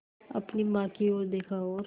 अपनी माँ की ओर देखा और